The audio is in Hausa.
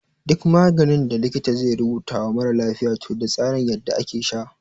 Duk maganin da likita zai rubuta wa mara lafiya toh da tsarin yadda ake sha.